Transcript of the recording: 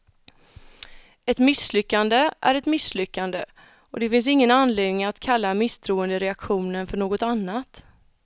Ett misslyckande är ett misslyckande, och det finns ingen anledning att kalla misstroendeaktionen för något annat.